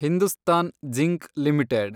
Hindustan zinc limited